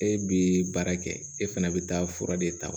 E bi baara kɛ e fana bi taa fura de ta